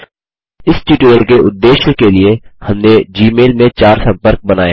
इस ट्यूटोरियल के उद्देश्य के लिए हमने जी मेल में चार सम्पर्क बनाएँ हैं